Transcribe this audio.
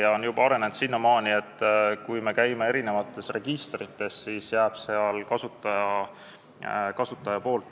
Ta on juba arenenud sinnamaani, et registrites jääb